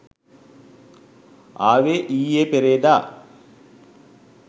ආවේ ඊයේ පෙරේදා.